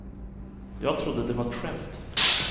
Jag trodde det var ett skämt.